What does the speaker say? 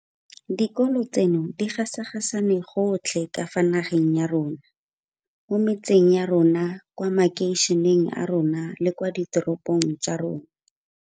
Dikolo tseno di gasagane gotlhe ka fa nageng ya rona mo metseng ya rona, kwa makeišeneng a rona le kwa diteropong tsa rona.